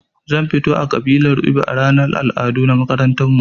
Zan fito a ƙabilar ibo a ranar al'adu na makarantarmu